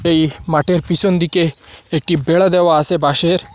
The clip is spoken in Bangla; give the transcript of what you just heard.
এই মাঠের পিসন দিকে একটি বেড়া দেওয়া আসে বাঁশের।